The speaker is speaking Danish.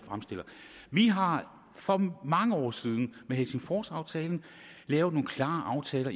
fremstiller vi har for mange år siden med helsingforsaftalen lavet nogle klare aftaler